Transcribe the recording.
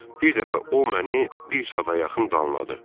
Bir dəfə o məni bir saata yaxın danladı.